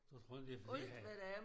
Du tror ikke det fordi at